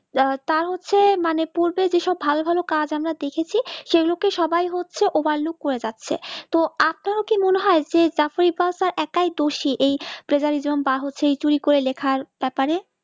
আহ তা হচ্ছে মানে পূর্বে বিষয়ে ভালো ভালো কাজ আমরা দেখেছি সে মতো সবাই হচ্ছে Overlup হয়ে যাচ্ছে তো আপনার কি মনে হয় যে একই দোষী এই বা হচ্ছে তুই করে লেখার বেপারে